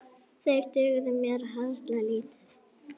Þeir dugðu mér harla lítið.